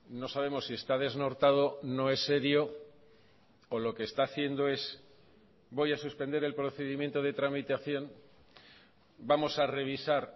no sabemos si está desnortado no es serio o lo que está haciendo es voy a suspender el procedimiento de tramitación vamos a revisar